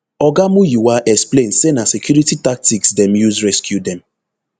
oga muyiwa explain say na security tactics dem use rescue dem